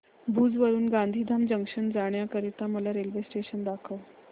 भुज वरून गांधीधाम जंक्शन जाण्या करीता मला रेल्वे दाखवा